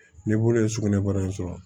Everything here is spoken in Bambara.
Ni bolo ye sugunɛbara in sɔrɔ